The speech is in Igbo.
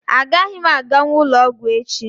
Agaghị m aganwu ụlọọgwụ echi